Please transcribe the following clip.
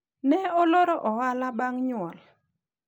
ne oloro ohala bang' nyuol